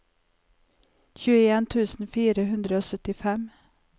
tjueen tusen fire hundre og syttifem